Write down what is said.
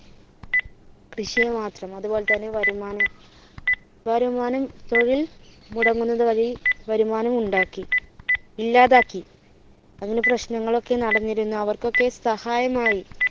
കൃഷിയെ മാത്രം അതുപോലെ തന്നെ വരുമാനം വരുമാനം തൊഴിൽ മുടങ്ങുന്നത് വഴി വരുമാനം ഉണ്ടാക്കി ഇല്ലാതാക്കി അതിനു പ്രശ്നങ്ങൾ ഒക്കെ നടന്നിരുന്നു അവർക്ക് ഒക്കെ സഹായമായി